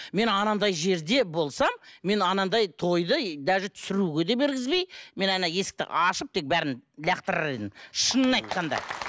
мен анандай жерде болсам мен анандай тойды и даже түсіруге де бергізбей мен ана есікті ашып тек бәрін лақтырар едім шынын айтқанда